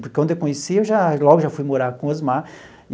Porque quando eu conheci eu já, logo já fui morar com Osmar.